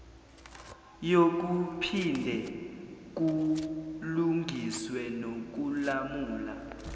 yokuphinde kulungiswe nokulamula